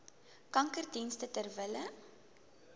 kankerdienste ter wille